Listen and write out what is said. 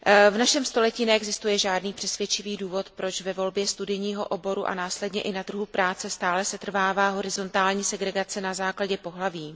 V našem století neexistuje žádný přesvědčivý důvod, proč ve volbě studijního oboru a následně i na trhu práce stále setrvává horizontální segregace na základě pohlaví.